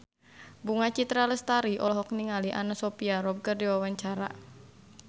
Bunga Citra Lestari olohok ningali Anna Sophia Robb keur diwawancara